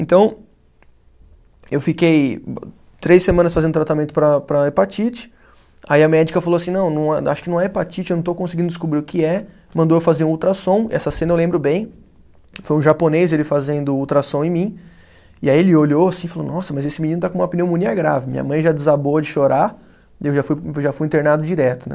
Então, eu fiquei três semanas fazendo tratamento para para hepatite, aí a médica falou assim, não, não a, acho que não é hepatite, eu não estou conseguindo descobrir o que é, mandou eu fazer um ultrassom, essa cena eu lembro bem, foi um japonês ele fazendo o ultrassom em mim, e aí ele olhou assim e falou, nossa, mas esse menino está com uma pneumonia grave, minha mãe já desabou de chorar, eu já fui, já fui internado direto, né.